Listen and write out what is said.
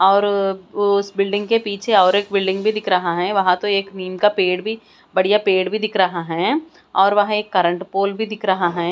और उस बिल्डिंग के पीछे और एक बिल्डिंग भी दिख रहा हैं वहां तो एक नीम का पेड़ भी बढ़िया पेड़ भी दिख रहा हैं और वह एक करंट पोल भी दिख रहा हैं।